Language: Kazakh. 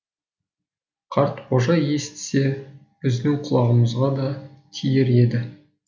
қартқожа естісе біздің құлағымызға да тиер еді